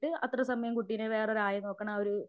അത്ര സമയം കുട്ടിനെ വേറൊരു ആയ നോക്കുണ ഒരു